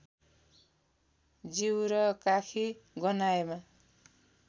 जिउ र काखी गन्हाएमा